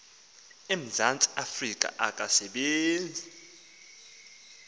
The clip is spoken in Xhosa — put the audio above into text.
emzantsi afrika akasebenzi